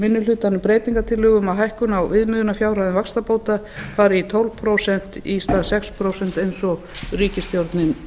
minni hlutanum breytingartillögu um að hækkun á viðmiðunarfjárhæðum vaxtabóta fari í tólf prósent í stað sex prósent eins og ríkisstjórnin